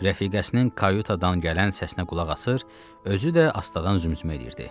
Rəfiqəsinin kayutadan gələn səsinə qulaq asır, özü də astadan zümzümə eləyirdi.